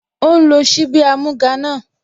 Ó ń lo ṣíbí amúga náà